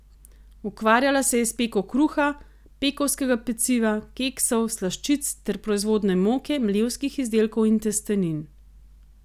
Ukvarjala se je s peko kruha, pekovskega peciva, keksov, slaščic ter proizvodnjo moke, mlevskih izdelkov in testenin.